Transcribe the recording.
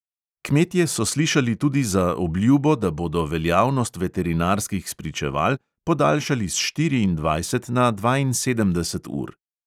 Kmetje so slišali tudi za obljubo, da bodo veljavnost veterinarskih spričeval podaljšali s štiriindvajset na dvainsedemdeset ur.